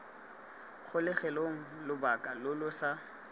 kgolegelong lobaka lo lo sa